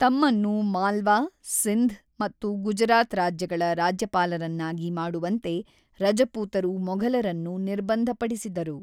ತಮ್ಮನ್ನು ಮಾಲ್ವಾ, ಸಿಂಧ್ ಮತ್ತು ಗುಜರಾತ್ ರಾಜ್ಯಗಳ ರಾಜ್ಯಪಾಲರನ್ನಾಗಿ ಮಾಡುವಂತೆ ರಜಪೂತರು ಮೊಘಲರನ್ನು ನಿರ್ಬಂಧಪಡಿಸಿದರು.